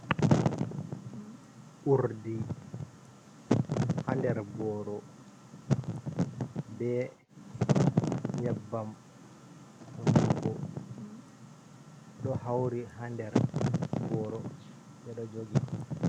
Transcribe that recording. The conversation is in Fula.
Urdi haa der boro, ɓe nyebbam hunduko ɗo hauri haa der boro, ɓe ɗo jogi.